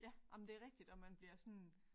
Ja jamen det er rigtigt og man bliver sådan